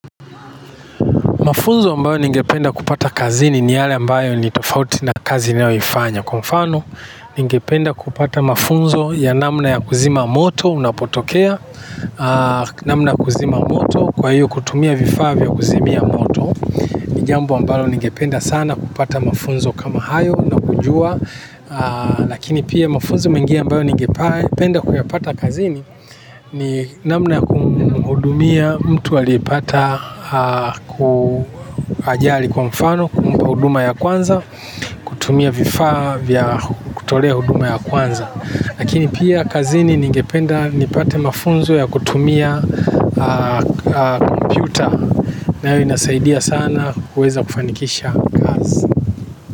Mafunzo ambayo ningependa kupata kazini ni yale ambayo ni tofauti na kazi niyo ifanya. Kwa mfano, ningependa kupata mafunzo ya namna ya kuzima moto, unapotokea namna ya kuzima moto, kwa hiyo kutumia vifaa vya kuzimia moto. Ni jambo ambalo ningependa sana kupata mafunzo kama hayo na kujua, lakini pia mafunzo mengine ambayo ningependa kuyapata kazini, ni namna kumhudumia mtu aliyepata ku ajali kwa mfano kumpa huduma ya kwanza kutumia vifaa vya kutolea huduma ya kwanza. Lakini pia kazini ningependa nipate mafunzo ya kutumia kompyuta nayo inasaidia sana kuweza kufanikisha kazi.